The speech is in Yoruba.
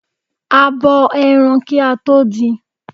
A bo ẹran kí a tó din.